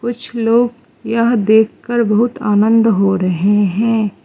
कुछ लोग यह देख कर बहुत आनंद हो रहे हैं।